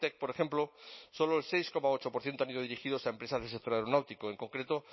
por ejemplo solo el seis coma ocho por ciento han ido dirigidos a empresas del sector aeronáutico en concreto